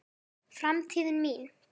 Framtíðin mín?